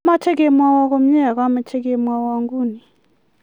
Amache kemwoiwo komie akamche kemwoiwo nguni